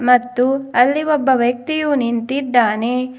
ಮತ್ತು ಅಲ್ಲಿ ಒಬ್ಬ ವ್ಯಕ್ತಿಯು ನಿಂತಿದ್ದಾನೆ.